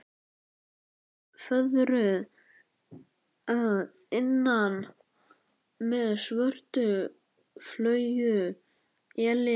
Hún var fóðruð að innan með svörtu flaueli.